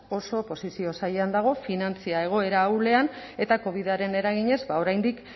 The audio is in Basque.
oso posizio zailean dago finantza egoera ahulean eta covidaren eraginez oraindik